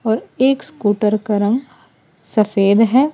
और एक स्कूटर का रंग सफेद है।